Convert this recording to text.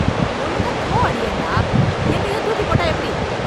ஒழுங்கா த்ரோ அடியேன் டா! எங்கேயோ தூக்கிப் போட்டா எப்படி?